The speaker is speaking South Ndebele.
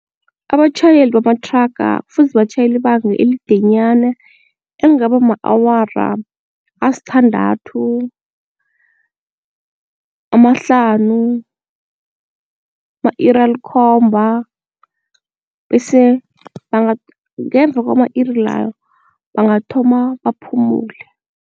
Abatjhayeli bamathraga kufuze batjhayele ibanga elidenyana elingaba ma-awara asithandathu, amahlanu, ama-iri alikhomba bese banga ngemva kwama-iri layo bangathoma baphumule.